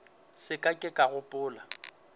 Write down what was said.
se ka ke ka gopola